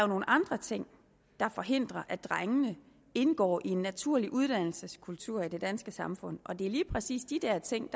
nogle andre ting der forhindrer at drengene indgår i en naturlig uddannelseskultur i det danske samfund og det er lige præcis de der ting